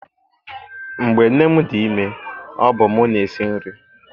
Mgbe nne m dị ime, ọ bụ mụ na-esi nri.